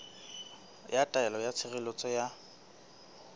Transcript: ya taelo ya tshireletso ya